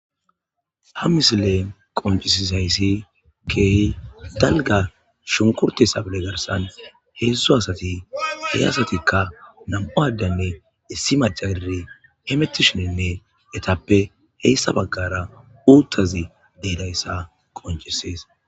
ha misile qoncisisayssi keey dalga shunkurte sabele garsan heedzdzu asati hey asatikka nam7u addanne issi macaire hemettishinenne etappe heyssa baggara uuttazi deedayssa qoncisees